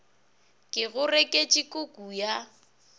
ke go reketše kuku ya